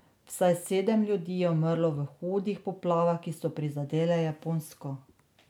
Vsaj sedem ljudi je umrlo v hudih poplavah, ki so prizadele Japonsko.